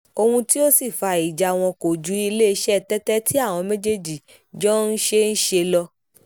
ohun tí ó sì fa ìjà wọn kò ju iléeṣẹ́ tẹ́tẹ́ tí àwọn méjèèjì jọ ń ṣe ń ṣe lọ